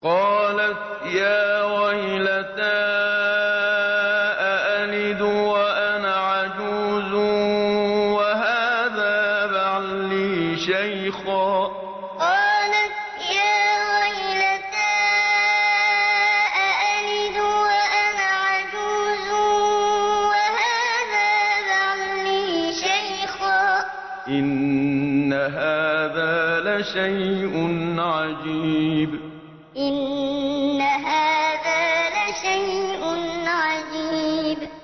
قَالَتْ يَا وَيْلَتَىٰ أَأَلِدُ وَأَنَا عَجُوزٌ وَهَٰذَا بَعْلِي شَيْخًا ۖ إِنَّ هَٰذَا لَشَيْءٌ عَجِيبٌ قَالَتْ يَا وَيْلَتَىٰ أَأَلِدُ وَأَنَا عَجُوزٌ وَهَٰذَا بَعْلِي شَيْخًا ۖ إِنَّ هَٰذَا لَشَيْءٌ عَجِيبٌ